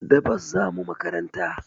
Da bus zamu makaranta